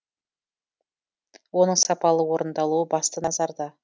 оның сапалы орындалуы басты назарда